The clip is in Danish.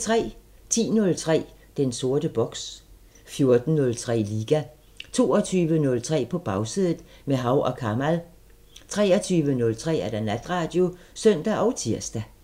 10:03: Den sorte boks 14:03: Liga 22:03: På Bagsædet – med Hav & Kamal 23:03: Natradio (søn og tir)